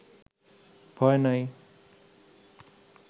ভয় নাই